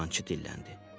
Dəyirmançı dilləndi.